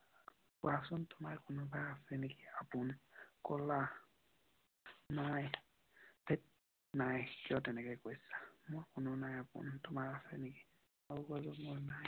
কোৱাচন তোমাৰ কোনোবাই আছে নেকি আপোন? কলা নাই। মোৰ কোনো নাই আপোন । তোমাৰ আছে নেকি? মই কলো মোৰ নাই।